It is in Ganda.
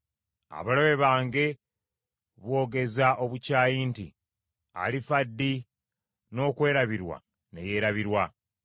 Abalabe bange boogeza obukyayi nti, “Alifa ddi n’okwerabirwa ne yeerabirwa?”